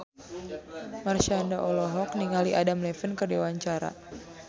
Marshanda olohok ningali Adam Levine keur diwawancara